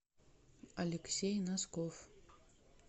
алексей носков